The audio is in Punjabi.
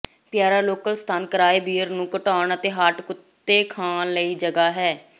ਪਿਆਰਾ ਲੋਕਲ ਸਥਾਨ ਕਿਰਾਏ ਬੀਅਰ ਨੂੰ ਘਟਾਉਣ ਅਤੇ ਹਾਟ ਕੁੱਤੇ ਖਾਣ ਲਈ ਜਗ੍ਹਾ ਹੈ